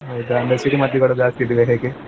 ಹೌದಾ ಮತ್ ಸಿಡಿಮದ್ದುಗಳು ಜಾಸ್ತಿ ಇದಿಯೋ ಹೇಗೆ?